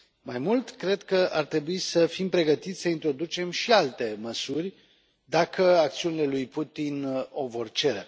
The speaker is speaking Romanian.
Mai mult, cred că ar trebui să fim pregătiți să introducem și alte măsuri dacă acțiunile lui Putin o vor cere.